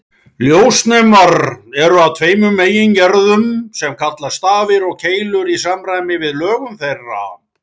Ljósnemar eru af tveimur megingerðum sem kallast stafir og keilur í samræmi við lögun þeirra.